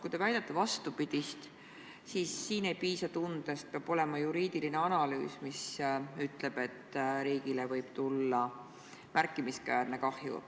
Kui te väidate vastupidist, siis siin ei piisa tundest, peab olema juriidiline analüüs, mis ütleb, et riigile võib tulla märkimisväärne kahju.